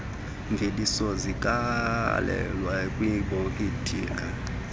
mveliso zigalelwe kwiibhotile